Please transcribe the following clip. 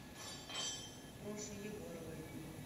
проше егоровой